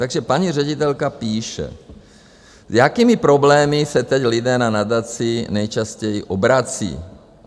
Takže paní ředitelka píše: "S jakými problémy se teď lidé na nadaci nejčastěji obrací?"